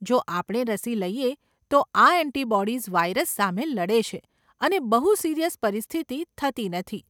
જો આપણે રસી લઈએ તો આ ઍન્ટિબોડીઝ વાઇરસ સામે લડે છે અને બહુ સિરીયસ પરિસ્થિતિ થતી નથી.